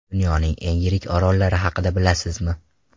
Dunyoning eng yirik orollari haqida bilasizmi?